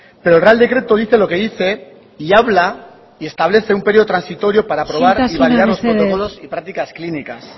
pero el real decreto dice lo que dice y habla y establece un periodo transitorio para aprobar y validar los protocolos y prácticas clínicas